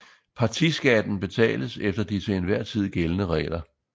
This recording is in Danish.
Partiskatten betales efter de til enhver tid gældende regler